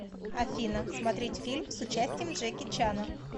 афина смотреть фильм с участием джеки чана